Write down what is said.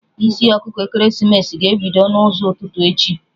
Isi ọkụkọ ekeresimesi ga-ebido n'ụzọ ụtụtụ echi